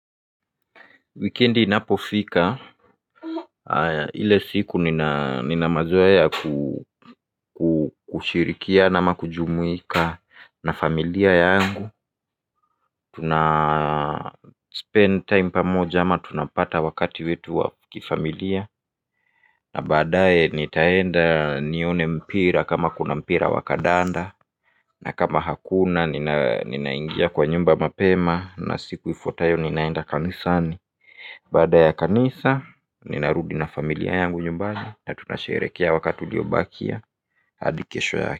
Wikendi inapofika. Ile siku nina mazoea ya kushirikiana ama kujumuika na familia yangu. Tuna spend time pamoja ama tunapata wakati wetu wa kifamilia. Na baadae nitaenda nione mpira kama kuna mpira wa kandanda. Na kama hakuna ninaingia kwa nyumba mapema na siku ifuatayo ninaenda kanisani. Baada ya kanisa ninarudi na familia yangu nyumbani na tunasherehekea wakati uliobakia hadi kesho yake.